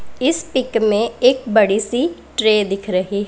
इस पिक में एक बड़ी सी ट्रे दिख रही--